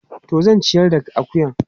Toh zan ciyar da akuyan.